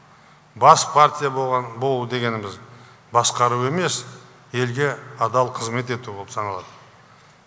бас партия болу дегеніміз басқару емес елге адал қызмет ету болып саналады